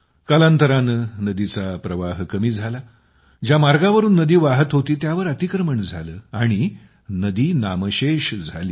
कालांतराने नदीचा प्रवाह कमी झाला ज्या मार्गांवरून नदी वाहत होती त्यावर अतिक्रमण झालं आणि नदी नामशेष झाली